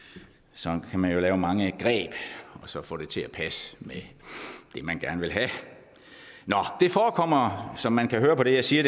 sådan kan man jo lave mange greb og så få det til at passe med det man gerne vil have det forekommer som man kan høre på det jeg siger